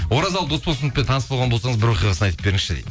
оразалы досболсыновпен таныс болған болсаңыз бір оқиғасын айтып беріңізші дейді